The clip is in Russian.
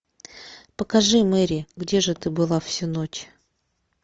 покажи мэри где же ты была всю ночь